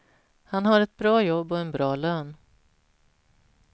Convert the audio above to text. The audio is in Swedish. Han har ett bra jobb och en bra lön.